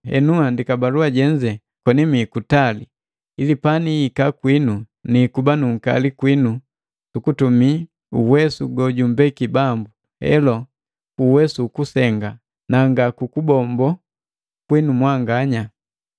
Henu nhandiki balua jenze koni mii kutali, ili panihika kwinu niikuba nu unkali kwinu sukutumii uwesu gojumbeki Bambu, helo, ku uwesu ukusenga na nga kubombola kwinu mwanganya.